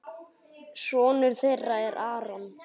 Sonur þeirra er Aron.